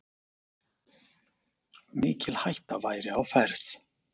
Mikil hætta væri á ferð.